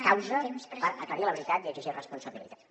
causa per aclarir la veritat i exigir responsabilitats